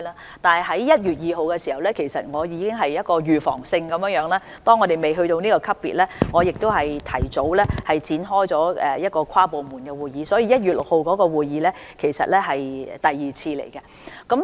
然而，在1月2日，我已經着手預防工作，當香港尚未達至這級別時，提早展開跨部門會議，所以 ，1 月6日的會議其實已是第二次會議。